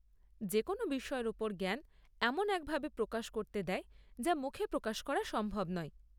যেকোনো বিষয়ের ওপর জ্ঞান এমন এক ভাবে প্রকাশ করতে দেয়, যা মুখে প্রকাশ করা সম্ভব নয়।